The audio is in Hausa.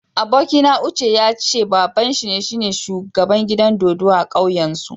Abokina Uche ya ce babban shi na shugaban gidan dodo a'kauyan su.